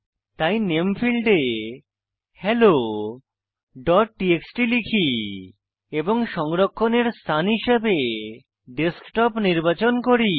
তাই নামে ফীল্ডে হেলো ডট টিএক্সটি লিখি এবং সংরক্ষণের স্থান হিসাবে ডেস্কটপ নির্বাচন করি